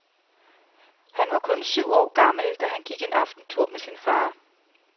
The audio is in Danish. Han var kun syv år gammel, da han gik en aftentur med sin far.